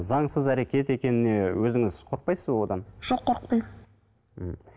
заңсыз әрекет екеніне өзіңіз қорықпайсыз ба одан жоқ қорықпаймын м